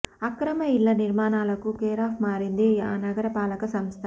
అక్రమ ఇళ్ల నిర్మాణాలకు కేరాఫ్ మారింది ఆ నగర పాలక సంస్ధ